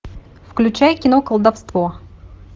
включай кино колдовство